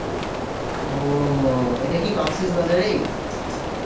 ও, এটা কী কক্সেস বাজারেই?